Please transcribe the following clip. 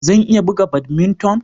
Zan iya buga badminton